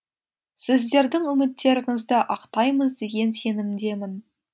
сіздердің үміттеріңізді ақтаймыз деген сенімдемін